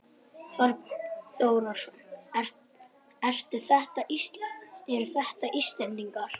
Þorbjörn Þórðarson: Eru þetta Íslendingar?